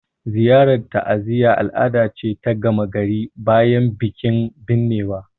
Ziyarar ta'aziyya al'ada ce ta gama gari bayan bikin binnewa